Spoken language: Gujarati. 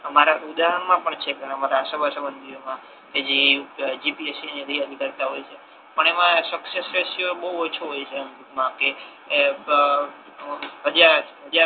અમારા ઉદાહરણ મા પણ છે બધા સગાસબંધીઓ મા કે જે જીપીએસસી ની તૈયારી કરતા હોય છે પણ એમા સક્સેસ રેશીઓ બહુ ઓછો હોય છે એમ ટૂંક મા કે એ બ હજાર હજાર